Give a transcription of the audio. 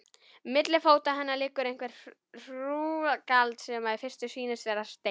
Milli fóta hennar liggur eitthvert hrúgald, sem í fyrstu sýnist vera steinn.